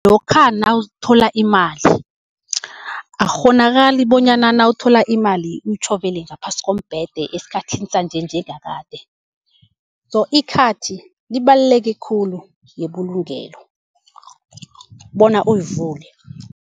Lokha nawuthola imali, akukghonakali bonyana nawuthola imali uyitjhovele ngaphasi kombhede esikhathini sanje njengakade. So ikhathi libaluleke khulu yebulugelo bona uyivule.